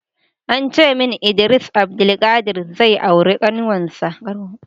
Ancemin Idris Abdulkarim zai aura kanwarsa